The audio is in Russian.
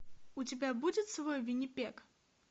у тебя будет свой виннипег